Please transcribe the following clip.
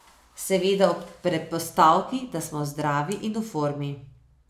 Seveda ob predpostavki, da smo zdravi in v formi.